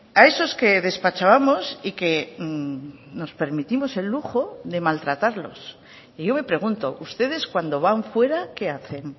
a esos que despachábamos y que nos permitimos el lujo de maltratarlos y yo me pregunto ustedes cuándo van fuera qué hacen